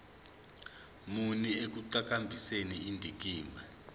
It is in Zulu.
muni ekuqhakambiseni indikimba